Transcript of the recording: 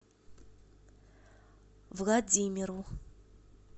владимиру